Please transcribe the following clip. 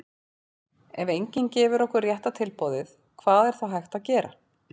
ef enginn gefur okkur rétta tilboðið hvað er þá hægt að gera?